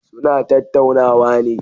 Suna tattaunawa ne.